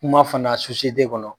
Kuma fana kɔnɔ